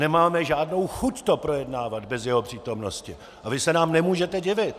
Nemáme žádnou chuť to projednávat bez jeho přítomnosti a vy se nám nemůžete divit.